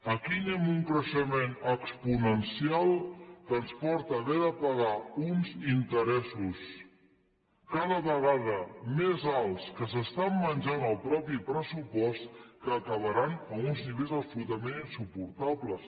aquí anem a un creixement exponencial que ens porta a haver de pagar uns interessos cada vegada més alts que s’estan menjant el mateix pressupost que acabaran a uns nivells absolutament insuportables